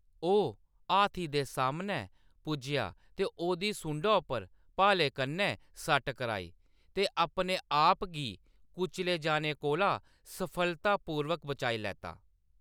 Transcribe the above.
ओह्‌‌ हाथी दे सामनै पुज्जेआ ते ओह्‌‌‌दी सुंडा उप्पर भाले कन्नै सट्ट कराई, ते अपने-आप गी कुचले जाने कोला सफलतापूर्वक बचाई लैता।